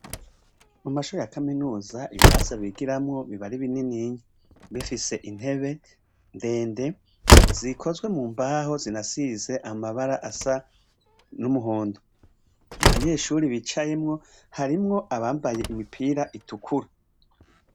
Mu mashure ya kaminuza ibirasi bigiramwo biba ari bininiya, bifise intebe ndende zikozwe mu mbaho, zinasize amabara asa n'umuhondo. Mu banyeshure bicayemwo, harimwo abambaye imipira itukura.